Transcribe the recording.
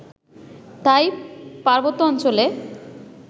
তাই পার্বত্যাঞ্চলে